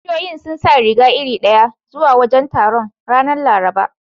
Kishiyoyin sun saka riga iri ɗaya zuwa wajen taron, ranar Laraba.